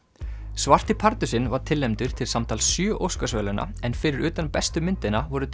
svarti pardusinn var tilnefndur til samtals sjö Óskarsverðlauna en fyrir utan bestu myndina voru